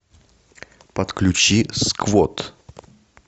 подключи сквот